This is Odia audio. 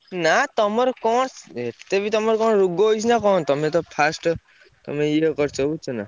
ନା ତମର କଣ ଏତେ ବି ତମର କଣ ରୋଗ ହେଇଛି ନା କଣ ତମେତ first ତମେ ଇଏ କରିଛ ବୁଝୁଛନା?